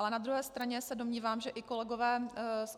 Ale na druhé straně se domnívám, že i kolegové z